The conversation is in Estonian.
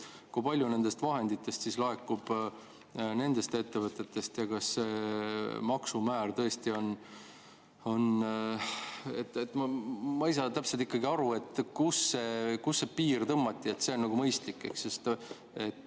Kui palju nendest vahenditest laekub nendest ettevõtetest ja kas see maksumäär tõesti on – ma ei saa täpselt ikkagi aru, kus see piir tõmmati – nagu mõistlik?